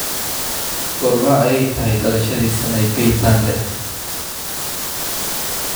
Goorma ayay tahay dhalashadii Sanaipei Tande?